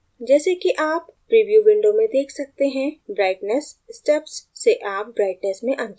जैसे कि आप preview window में देख सकते हैं brightness steps से आप brightness में अंतर कर सकते है